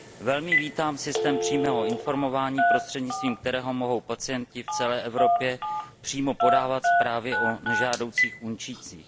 Velmi vítám systém přímého informování, prostřednictvím kterého mohou pacienti v celé Evropě přímo podávat zprávy o nežádoucích účincích.